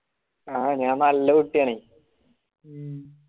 ആ ഞാൻ നല്ല കുട്ടിയാണെ